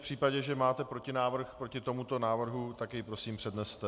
V případě, že máte protinávrh proti tomuto návrhu, tak jej prosím předneste.